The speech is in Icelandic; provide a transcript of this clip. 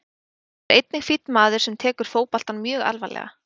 Hann er einnig fínn maður sem tekur fótboltann mjög alvarlega.